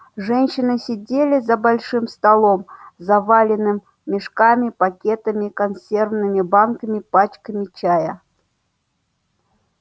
женщины сидели за большим столом заваленным мешками пакетами консервными банками пачками чая